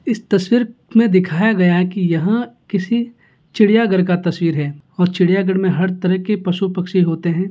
इस तस्वीर में दिखाया गया है की यहाँ किसी चिड़ियाघर का तस्वीर है और चिड़ियाघर में हर तरह के पशु पक्षी होते हैं।